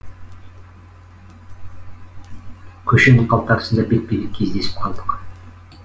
көшенің қалтарысында бетпе бет кездесіп қалдық